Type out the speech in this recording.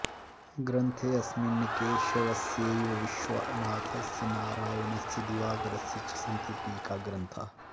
ग्रन्थेऽस्मिन् केशवस्यैव विश्वनाथस्य नारायणस्य दिवाकरस्य च सन्ति टीकाग्रन्थाः